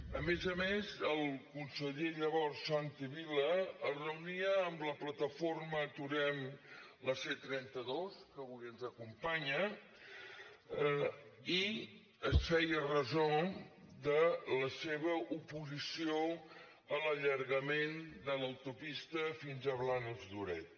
a més a més el conseller llavors santi vila es reunia amb la plataforma aturem la c trenta dos que avui ens acompanya i es feia ressò de la seva oposició a l’allargament de l’autopista fins a blanes lloret